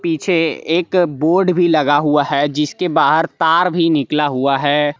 पीछे एक बोर्ड भी लगा हुआ है जिसके बाहर तार भी निकला हुआ है।